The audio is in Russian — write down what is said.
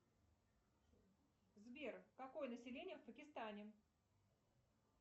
сбер какое население в пакистане